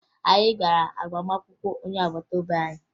Anyị gara agbamakwụkwọ onye agbata obi anyị